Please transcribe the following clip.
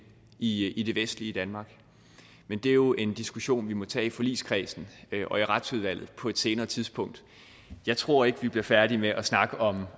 i i det vestlige danmark men det er jo en diskussion vi må tage i forligskredsen og i retsudvalget på et senere tidspunkt jeg tror ikke vi bliver færdige med at snakke om